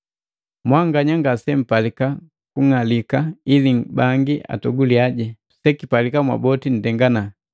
Mwanganya ngasempalika kung'alika ili bangi atoguliya, sekipalika mwaboti nndengana.